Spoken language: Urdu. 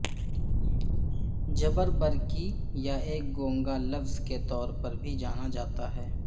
جبربرکی یا ایک گونگا لفظ کے طور پر بھی جانا جاتا ہے